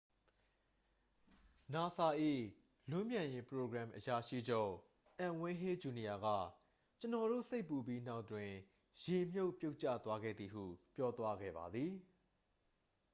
"နာဆာ၏ လွန်းပြန်ယာဉ် ပရိုဂရမ် အရာရှိချုပ် အန်ဝိန်းဟေးဂျူနီယာက "ကျွန်တော်တို့ စိတ်ပူပြီးနောက်တွင်" ရေမြှုပ် ပြုတ်ကျသွားခဲ့သည်ဟု ပြောသွားခဲ့ပါသည်။